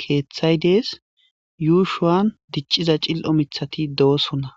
keeththay dees yuushuwan dicciza cil'o mithati do'osonna